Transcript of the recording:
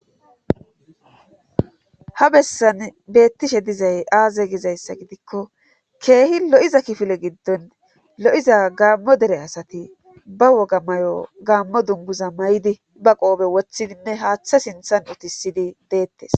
ha bessan beettishe dizay aaze gizayssa gidikko keehi lo7iza kifile giddon lo7iza gaammo dere asati ba woga mayo gaammo dunguza may7di ba qoobe wothidinne haaththa sinthan utisidi deettes